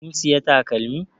Kin siya takalmin?